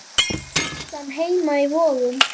Veislan heima í Vogum.